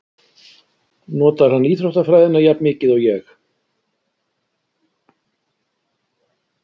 Notar hann íþróttafræðina jafn mikið og ég?